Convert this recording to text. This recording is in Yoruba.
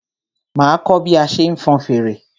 Máa kọ́ bí a ṣe ń fọn fèrè.